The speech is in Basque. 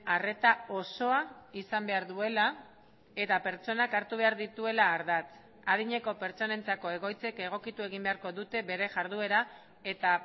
arreta osoa izan behar duela eta pertsonak hartu behar dituela ardatz adineko pertsonentzako egoitzek egokitu egin beharko dute bere jarduera eta